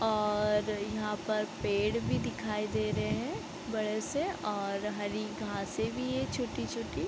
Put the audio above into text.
और यहाँ पर पेड़ भी दिखाई दे रहे हैं बड़े से और हरी घासे भी है छोटी-छोटी।